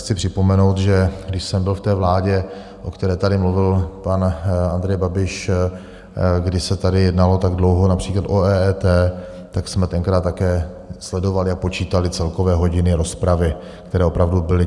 Chci připomenout, že když jsem byl v té vládě, o které tady mluvil pan Andrej Babiš, kdy se tady jednalo tak dlouho například o EET, tak jsme tenkrát také sledovali a počítali celkové hodiny rozpravy, které opravdu byly.